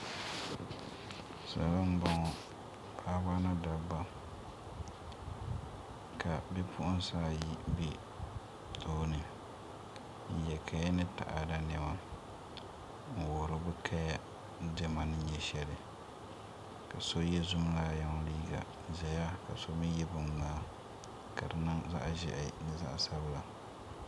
salo m-bɔŋɔ paɣiba ni dabba ka bipuɣinsi ayi be tooni n-ye kaya ni taɣada nema n-wuhiri bɛ kaya diɛma ni nyɛ shɛli ka so ye zumlaayɔŋ liiga zaya ka so mi ye biŋmŋmaa ka di niŋ zaɣ' ʒɛhi ni zaɣ' sabila